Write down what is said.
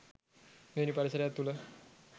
මෙවැනි පරිසරයක් තුළ